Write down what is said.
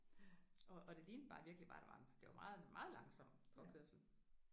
Og og det lignede bare virkelig bare det var en det var meget meget langsom påkørsel